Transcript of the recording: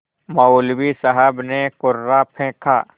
मौलवी साहब ने कुर्रा फेंका